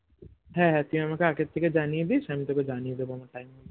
হ্যাঁ হ্যাঁ তুই আমাকে আগের থেকে জানিয়ে দিস আমি তোকে জানিয়ে দেব আমার time হলে